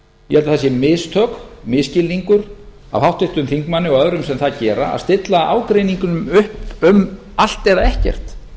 ég held að það séu mistök misskilningur af háttvirtum þingmanni og öðrum sem það gera að stilla ágreiningnum upp um allt eða ekkert